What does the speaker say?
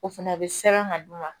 O fɛnɛ bɛ sɛbɛn ka d'u ma